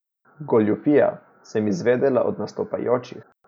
Goljufija, sem izvedela od nastopajočih.